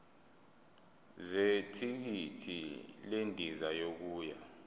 zethikithi lendiza yokuya